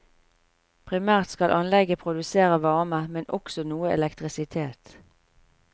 Primært skal anlegget produsere varme, men også noe elektrisitet.